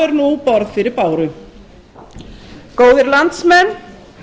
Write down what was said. er nú borð fyrir báru góðir landsmenn